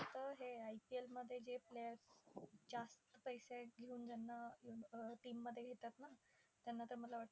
हे IPL मध्ये जे players जास्त पैसे घेऊन ज्यांना team मध्ये घेतात ना, त्यांना तर मला वाटतं